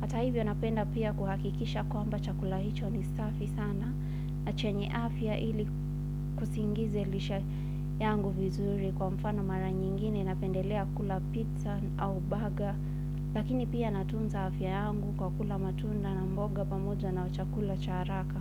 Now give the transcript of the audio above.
Hata hivyo, napenda pia kuhakikisha kwamba chakula hicho ni safi sana. Na chenye afya ili kusiingize lishe yangu vizuri kwa mfano mara nyingine napendelea kula pizza au baga lakini pia natunza afya yangu kwa kula matunda na mboga pamoja na chakula cha haraka.